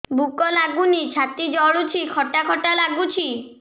ଭୁକ ଲାଗୁନି ଛାତି ଜଳୁଛି ଖଟା ଖଟା ଲାଗୁଛି